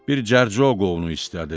Bir cərcə qoğnu istədi.